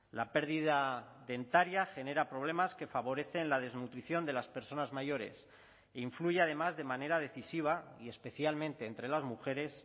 la pérdida dentaria genera problemas que favorecen la desnutrición de las personas mayores influye además de manera decisiva y especialmente entre las mujeres